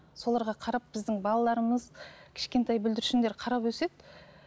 соларға қарап біздің балаларымыз кішкентай бүлдіршіндер қарап өседі